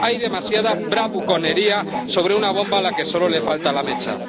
Hay demasiada bravuconería sobre una bomba a la que solo le falta la mecha.